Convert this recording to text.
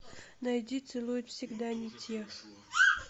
найди целуют всегда не тех